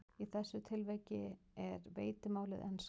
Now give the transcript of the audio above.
Í þessu tilviki er veitimálið enska.